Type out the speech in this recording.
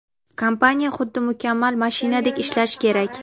Kompaniya – xuddi mukammal mashinadek ishlashi kerak.